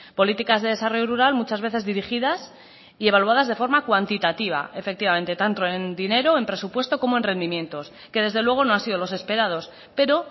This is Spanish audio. políticas de desarrollo rural muchas veces dirigidas y evaluadas de forma cuantitativa efectivamente tanto en dinero en presupuesto como en rendimientos que desde luego no han sido los esperados pero